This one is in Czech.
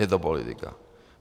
Je to politika.